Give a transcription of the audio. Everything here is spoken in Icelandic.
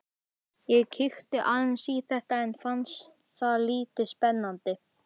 Ég kíkti aðeins í þetta en fannst það lítið spennandi.